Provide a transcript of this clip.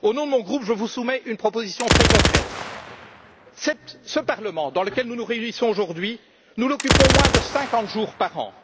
Au nom de mon groupe, je vous soumets une proposition très concrète ce parlement dans lequel nous nous réunissons aujourd'hui, nous l'occupons moins de 50 jours par